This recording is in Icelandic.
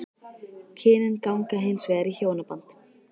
Kynin ganga hins vegar í hjónaband.